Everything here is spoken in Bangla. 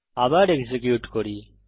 আবার এক্সিকিউট করি